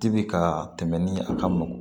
Dibi ka tɛmɛ ni a ka mɔn